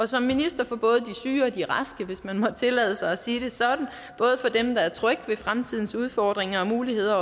som minister for både de syge og de raske hvis man må tillade sig at sige det sådan både for dem der er trygge ved fremtidens udfordringer og muligheder